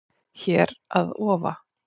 Hér að ofa